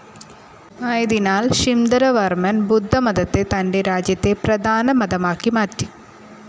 ആയതിനാൽ ശിംധരവർമ്മൻ ബുദ്ധമതത്തെ തൻ്റെ രാജ്യത്തെ പ്രധാന മതമാക്കി മാറ്റി.